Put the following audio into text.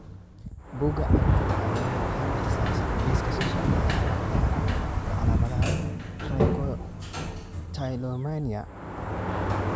Bugga aragtiyaha aanadanaha waxay bixisaa liiska soo socda ee calaamadaha iyo calaamadaha Trichotillomania.